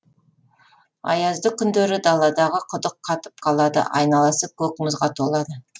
аязды күндері даладағы құдық қатып қалады айналасы көк мұзға толады